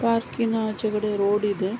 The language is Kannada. ಪಾರ್ಕಿನ ಆಚೆಕಡೆ ರೋಡ್ ಇದೆ.